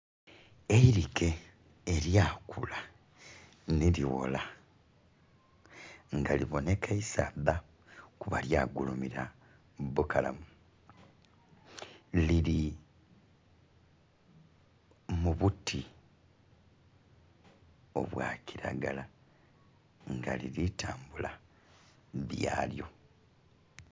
Erike eryakula nerighola nga libonheka isaadha kuba lyagulumira bukalamu liri mubuti obwokiragara nga liritambula byalyo